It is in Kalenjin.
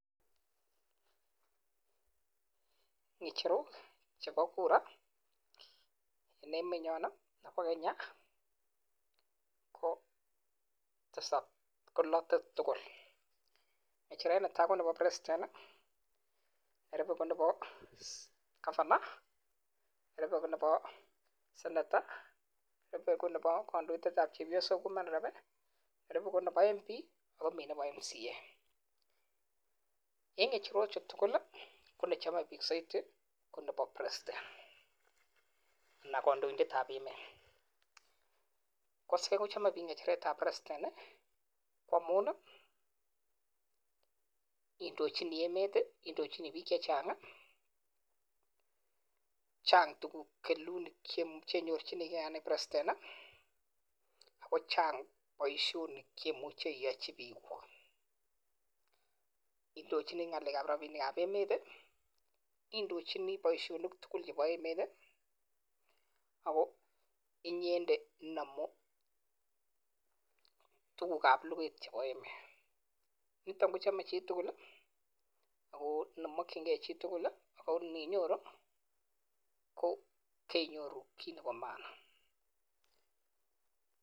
Icheru chepo Kura oleimenye ..negecheret Netai konepa (president, governor, senator ,mp MC) chame piik ngachereet ap (president) amun Chang poishonik indochinii poishonik tugul chebo emet kotugul nitok kochame chitugul ako nginyoru KO kenyoru hii Nepo (maana)